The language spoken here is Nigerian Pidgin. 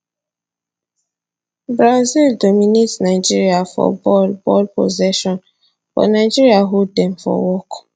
brazil dominate nigeria for ball ball possession but nigeria hold dem for work